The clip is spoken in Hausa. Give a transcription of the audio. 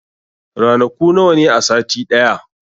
Ranaku nawa ne a sati ɗaya?